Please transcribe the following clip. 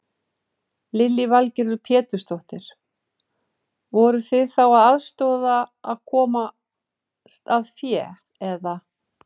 Lillý Valgerður Pétursdóttir: Voruð þið þá að aðstoða við að komast að fé eða?